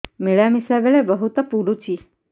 ମିଳାମିଶା ବେଳେ ବହୁତ ପୁଡୁଚି